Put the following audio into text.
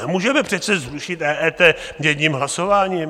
Nemůžeme přece zrušit EET jedním hlasováním.